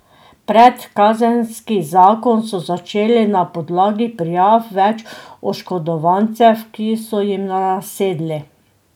Predkazenski zakon so začeli na podlagi prijav več oškodovancev, ki so ji nasedli.